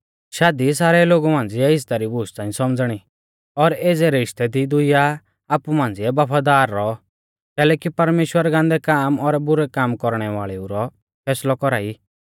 शादी सारै लोगु मांझ़िऐ इज़्ज़ता री बूश च़ांई सौमझ़णी और एज़ै रिश्तै दी दुइया आपु मांझ़िऐ बफादार रौऔ कैलैकि परमेश्‍वर गान्दै काम और बुरै काम कौरणै वाल़ेऊ रौ फैसलौ कौरा ई